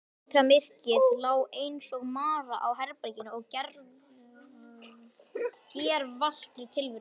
Vetrarmyrkrið lá einsog mara á herberginu og gervallri tilverunni.